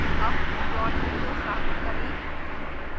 अब plot window साफ करें